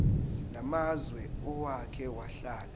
namazwe owake wahlala